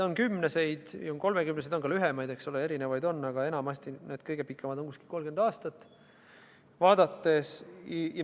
On kümneseid ja kolmekümneseid, on ka lühemaid, eks ole, neid on erinevaid, aga kõige pikemad on enamasti vist 30-aastased.